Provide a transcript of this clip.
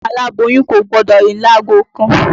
Aláboyún Kò gbọdọ̀ rìn lágo kan.